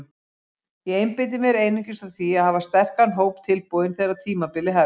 Ég einbeiti mér einungis að því að hafa sterkan hóp tilbúinn þegar tímabilið hefst.